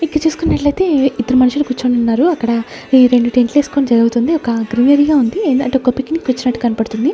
ఇక్కడ చూసుకున్నట్లయితే ఇద్దరు మనుషుల కూర్చుని ఉన్నారు అక్కడ రెండు టెంట్లు వేసుకుని జరుగుతుంది ఒక గ్రీనరీగా ఉంది అంటే ఒక పిక్నిక్ కి వచ్చినట్టు కనపడుతుంది.